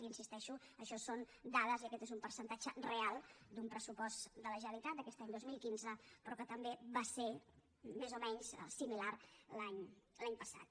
i hi insisteixo això són dades i aquest és un percentatge real d’un pressupost de la generalitat d’aquest any dos mil quinze però que també va ser més o menys similar l’any passat